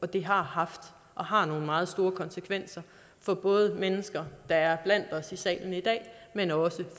det har haft og har nogle meget store konsekvenser for både mennesker der er blandt os i salen i dag men også